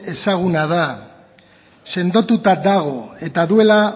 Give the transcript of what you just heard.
ezaguna da sendotuta dago eta duela